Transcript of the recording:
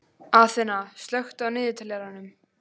Aþena, slökktu á niðurteljaranum.